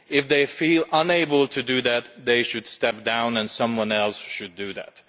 If they feel unable to do that, they should step down and someone else should do it.